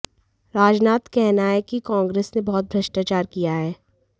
राजनाथ कहना है कि कांग्रेस ने बहुत भ्रष्टाचार किया है